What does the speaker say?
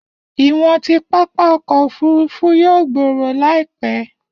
Iwọn ti pápá ọkọ ofurufu yoo gbooro laipẹ.